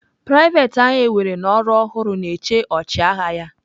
Private ahu ewere n'ọrụ ofuru na-eche ọchịagha ya.